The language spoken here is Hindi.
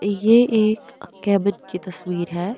ये एक कैबिन की तस्वीर है।